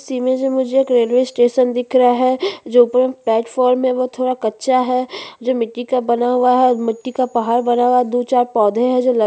इस इमेज में मुझे एक रेलवे स्टेशन दिख रहा है जो प्लेटफार्म है वो थोड़ा कच्चा है जो मिट्टी का बना हुआ है और मिट्टी का पहाड़ बना हुआ है दो चार पौधे है जो लगे--